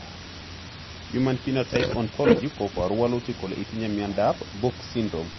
Human Phenotype Ontology koporu wolutik kole itinye Miondap book syndrome.